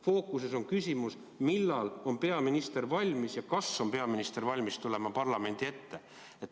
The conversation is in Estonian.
Fookuses on küsimus, millal on peaminister valmis ja kas on peaminister valmis tulema parlamendi ette.